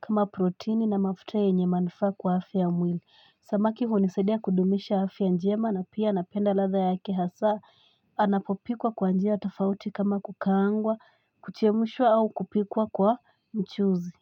kama proteini na mafute enye manfa kwa hafi ya mwili samaki hunisadea kudumisha hafi ya njema na pia anapenda latha yake hasa anapopikwa kwa njia atafauti kama kukaangwa kuchemushwa au kupikwa kwa mchuzi.